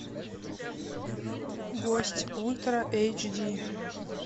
гость ультра эйч ди